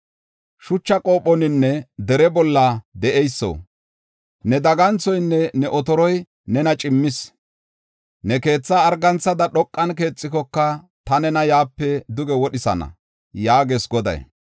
Shucha qophoninne dere bolla de7eyso, ne daganthoynne ne otoroy nena cimmis. Ne keethaa arganthada dhoqan keexikoka, ta nena yaape duge wodhisana” yaagees Goday.